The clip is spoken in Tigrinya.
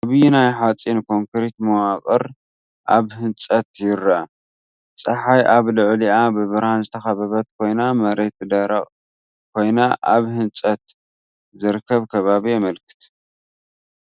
ዓብዪ ናይ ሓፂንን ኮንክሪትን መዋቕር ኣብ ህንፀት ይርአ። ጸሓይ ኣብ ልዕሊኣ ብብርሃን ዝተኸበበት ኮይና፡ መሬት ደረቕ ኮይኑ ኣብ ህንጸት ዝርከብ ከባቢ የመልክት።